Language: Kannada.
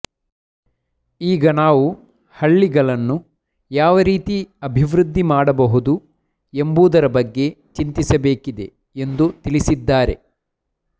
ಈಗ ನಾವು ಹಳ್ಳಿಗಳನ್ನು ಯಾವ ರೀತಿ ಅಭಿವೃದ್ಧಿ ಮಾಡಬಹುದು ಎಂಬುದರ ಬಗ್ಗೆ ಚಿಂತಿಸಬೇಕಿದೆ ಎಂದು ತಿಳಿಸಿದ್ದಾರೆ